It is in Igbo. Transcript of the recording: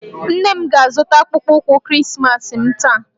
Nna m ga-azụta akpụkpọ ụkwụ Krismas m taa